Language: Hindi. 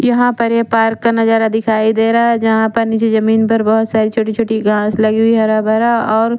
यहा पर ये पार्क का नजारा दिखाई देरा है जहा पर निजी जमीन पर बहोत सारी छोटी छोटी घास लगी हुई है हरा भरा और--